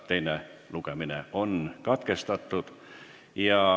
Teine lugemine on katkestatud.